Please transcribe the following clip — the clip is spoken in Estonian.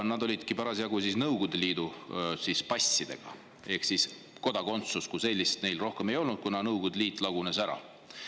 Nad olid parasjagu Nõukogude Liidu passidega ehk siis kodakondsust kui sellist neil enam ei olnud, kuna Nõukogude Liit lagunes ära.